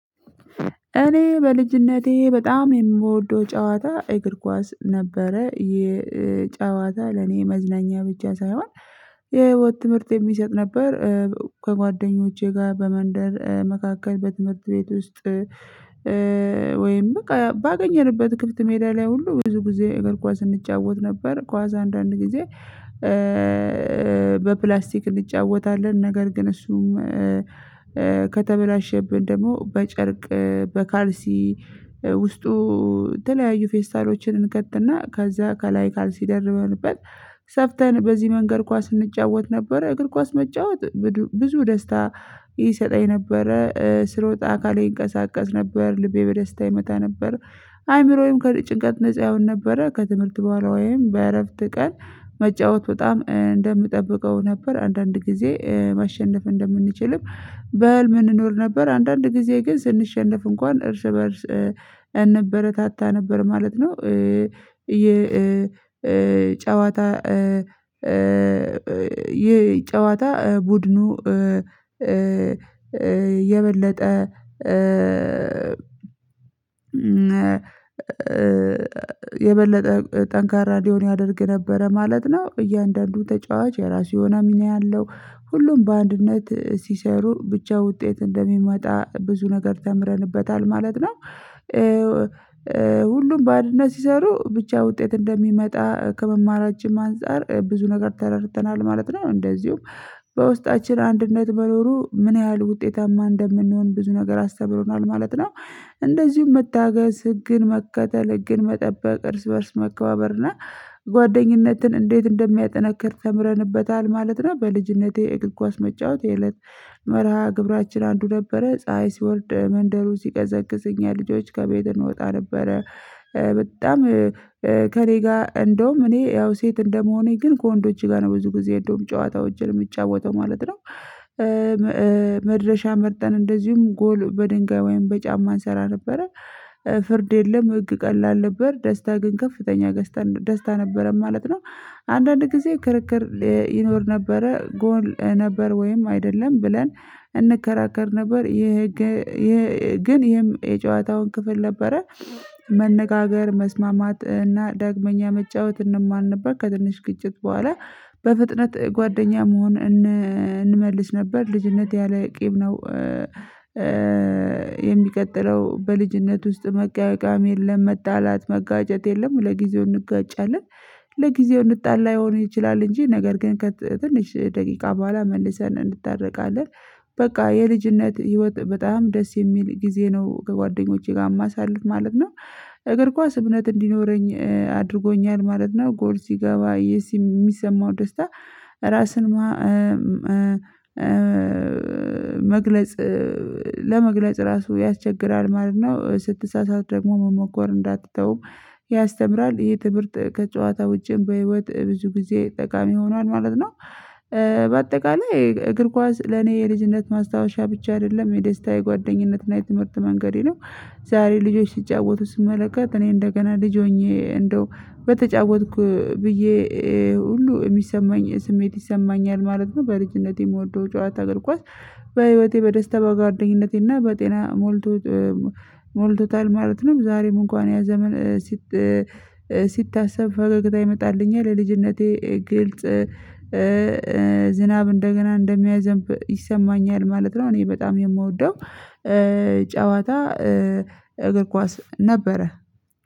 እኔ በልጅነቴ በጣም የምወደው ጨዋታ እግር ኳስ ነበረ የጨዋታ ለኔ መዝናኛ ብቻ ሳይሆን የህይወት ትምህርት የሚሰጥ ነበር። ከጓደኞቼ ጋር በመንደር መካከል በትምህርት ቤት ውስጥ። ወይም በቃ ባገኘንበት ክፍት ሜዳ ላይ ሁሉ ብዙ ጊዜ እግር ኳስ እንጫወት ነበር። ኳስ አንዳንድ ጊዜ። በፕላስቲክ እንጫወታለን ነገር ግን እሱም ከተበላሸብን ደግሞ በጨርቅ በካልሲ ውስጡ የተለያዩ ፌስታሎችን እንከትና ከዛ ከላይ ካልሲ ደርበንበት ሰፍተን በዚህ መንገድ ኳስ እንጫወት ነበረ። እግር ኳስ መጫወት ብዙ ደስታ ይሰጠኝ ነበረ ስሮጥ አካሌ ይንቀሳቀስ ነበር ልቤ በደስታ ይመታ ነበረ። አይምሮዬም ከጭንቀት ነፃ ይሆን ነበረ ከትምህርት በኋላ ወይም በእረፍት ቀን። መጫወት በጣም እንደምጠብቀው ነበር አንዳንድ ጊዜ ማሸነፍ እንደምንችልም በህልም እንኖር ነበር። አንዳንድ ጊዜ ግን ስንሸነፍ እንኳን እርስ በእርስ እንበረታታ ነበር ማለት ነው። የጨዋታ ጨዋታ ቡድኑ የበለጠ ጠንካራ እንዲሆን ያደርግ ነበረ ማለት ነው። እያንዳንዱ ተጫዋች የራሱ የሆነ ሚና ያነው ሁሉም በአንድነት ሲሰሩ ብቻ ውጤት እንደሚመጣ ብዙ ነገር ተምረንበታል ማለት ነው። ሁሉም በአንድነት ሲሰሩ ብቻ ውጤት እንደሚመጣ ከመማራችን አንፃር ብዙ ነገር ተረድተናል ማለት ነው። እንደዚሁም በውስጣችን አንድነት መኖሩ ምን ያህል ውጤታማ እንደምንሆን ብዙ ነገር አስተብሮናል ማለት ነው። እንደዚሁም መታገስ ህግን መከተል ህግን መጠበቅ እርስ በእርስ መከባበርና ጓደኝነትን እንዴት እንደሚያጠናክር ተምረንበታል ማለት ነው። በልጅነቴ እግር ኳስ መጫወት የእለት መርሃ ግብራችን አንዱ ነበረ ፀሀይ ሲወርድ መንደሩ ሲቀዘቅዝኝ እኛ ልጆች ከቤት እንወጣ ነበረ። በጣም ከእኔ ጋር እንደውም እኔ ያው ሴት እንደመሆኔ ግን ከወንዶቼ ጋር ነው ብዙ ጊዜ እንደውም ጨዋታዎችን የምጫወተው ማለት ነው። መድረሻ መርጠን እንደዚሁም ጎል በድንጋይ ወይም በጫማ እንሰራ ነበረ። ፍርድ የለም ህግ ቀላል ነበር ደስታ ግን ከፍተኛ ደስታ ነበረን ማለት ነው። አንዳንድ ጊዜ ክርክር ይኖር ነበረ ጎል ነበር ወይም አይደለም ብለን እንከራከር ነበር ይሄ ግን ይሄ የጨዋታው ክፍል ነበረ። መነጋገር መስማማት እና ዳግመኛ መጫወት እንማር ነበር። ከትንሽ ግጭት በኋላ በፍጥነት ጓደኛ መሆን እንመልስ ነበር። ልጅነት ያለ ቂብ ነው። የሚቀጥለው በልጅነት ውስጥ መቃየቃም የለም መጣላት መጋጨት የለም። ለጊዜው እንጋጫለን ለጊዜው እንጣላ ይሆን ይችላል እንጂ ነገር ግን ከትንሽ ደቂቃ በኋላ መልሰን እንድታረቃለን። በቃ የልጅነት ህይወት በጣም ደስ የሚል ጊዜ ነው ከጓደኞቼ ጋር የማሳልፍ ማለት ነው። እግር ኳስ እምነት እንዲኖረኝ አድርጎኛል ማለት ነው። ጎል ሲገባ የሚሰማው ደስታ ራስን መግለጽ ለመግለጽ ራሱ ያስቸግራል ማለት ነው። ስትሳሳት ደግሞ መሞከር እንዳትተው ያስተምራል ይሄ ትምህርት ከጨዋታ ውጪም በህይወት ብዙ ጊዜ ጠቃሚ ሆኗል ማለት ነው። እ በአጠቃለይ እግር ኳስ ለኔ የልጅነት ማስታወሻ ብቻ አይደለም የደስታ የጓደኝነት እና የትምህርት መንገዴ ነው። ዛሬ ልጆች ሲጫወቱ ስመለከት እኔ እንደገና ልጅ ሆኜ እንደው በተጫወትኩ ብዬ ሁሉ የሚሰማኝ ስሜት ይሰማኛል ማለት ነው። በልጅነቴ የምወደው ጨዋታ እግር ኳስ በህይወቴ በደስታ በጓደኝነቴና በጤና ሞልቶ ሞልቶ ሞልቶታል ማለት ነው። ዛሬም እንኳን ያ ዘመን ሲታሰብ ፈገግታ ይመጣልኛል ለልጅነቴ ግልጽ ዝናብ እንደገና እንደሚያዘንብ ይሰማኛል ማለት ነው። እኔ በጣም የምወደው ጨዋታ እግር ኳስ ነበረ።